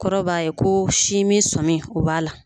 Kɔrɔ b'a ye ko sinmin sɔmi o b'a la